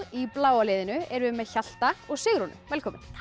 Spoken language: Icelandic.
í bláa liðinu erum við með Hjalta og Sigrúnu velkomin